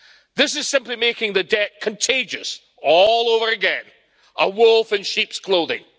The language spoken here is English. This is simply making the debt contagious all over again a wolf in sheep's clothing.